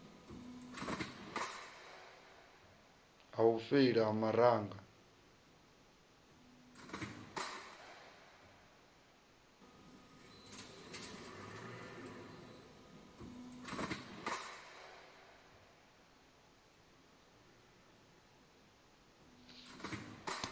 ha u feila ha maraga